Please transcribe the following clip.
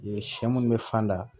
Yen sɛ munnu be fan da